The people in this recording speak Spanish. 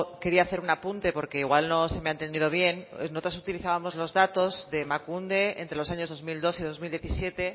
quería hacer un apunte porque igual no se me ha entendido bien nosotras utilizábamos los datos de emakunde entre los años dos mil dos y dos mil diecisiete